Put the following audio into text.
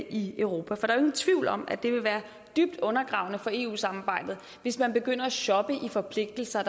i europa for der ingen tvivl om at det vil være dybt undergravende for eu samarbejdet hvis man begynder at shoppe i forpligtelser